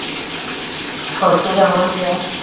ਖੁਸ਼ ਰਵੋ ਜਾ